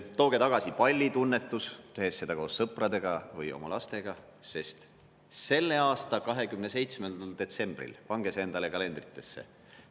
Tooge tagasi pallitunnetus, tehes seda koos sõpradega või oma lastega, sest selle aasta 27. detsembril – pange see endale kalendrisse!